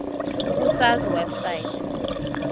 ku sars website